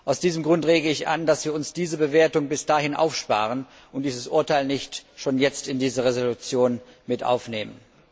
Aus diesem Grund rege ich an, dass wir uns diese Bewertung bis dahin aufsparen und dieses Urteil nicht schon jetzt in diese Entschließung aufnehmen.